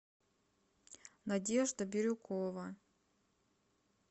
надежда бирюкова